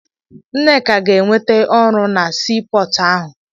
Nneka ga-enwete ọrụ na sii pọọtụ ahụ.